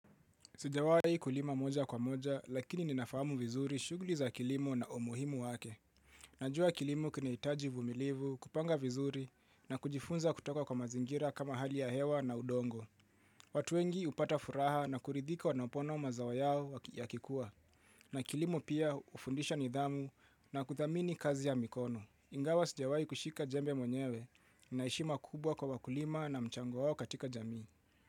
Sijawai kulima moja kwa moja lakini ninafahamu vizuri shughuli za kilimo na umuhimu wake. Najua kilimo kinahitaji uvumilivu kupanga vizuri na kujifunza kutoka kwa mazingira kama hali ya hewa na udongo. Watuwengi hupata furaha na kuridhika wanapoona mazao yao ya kikua. Na kilimo pia hufundisha nidhamu na kuthamini kazi ya mikono. Ingawa sijawai kushika jembe mwnyewe na heshima kubwa kwa kulima na mchango wao katika jamii.